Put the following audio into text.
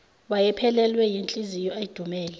wayephelelwe yinhliziyo edumele